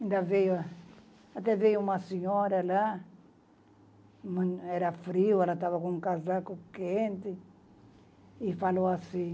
ainda veio. Até veio uma senhora lá, era frio, ela estava com um casaco quente, e falou assim,